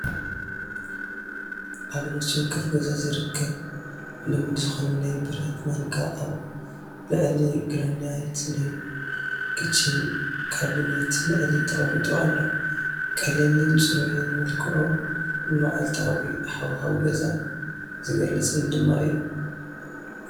ኣብ ነፍሲ ወከፍ ገዛ ዝርከብ ልሙድ ዝኾነ ናይ ብረት ማንካ ኣብ ልዕሊ ግራናይት ናይ ክቺን ካብኔት ልዕሊ ተቐሚጡ ኣሎ። ቀሊልን ጽሩይን መልክዑ ንመዓልታዊ ሃዋህው ገዛ ዝገልፅን ድማ እዩ።